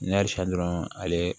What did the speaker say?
Ne san dɔrɔn ale